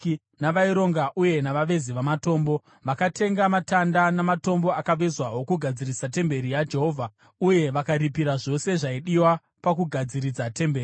navaironga uye navavezi vamatombo. Vakatenga matanda namatombo akavezwa okugadzirisa temberi yaJehovha, uye vakaripira zvose zvaidiwa pakugadziridza temberi.